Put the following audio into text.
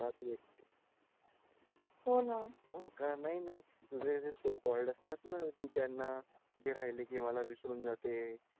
का तू एकटी हो ना हो का नाय नाय तुझे जे सो कॉल्ड असतात ना तू त्यांना जे राहिले की मला विसरून जाते